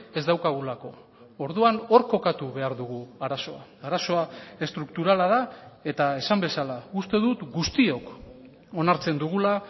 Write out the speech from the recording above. ez daukagulako orduan hor kokatu behar dugu arazoa arazoa estrukturala da eta esan bezala uste dut guztiok onartzen dugula